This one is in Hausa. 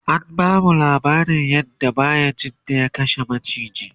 an bamu laabarin yadda bayajidda ya kashe maciki